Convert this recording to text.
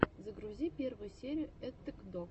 загрузи первую серию эттэк дог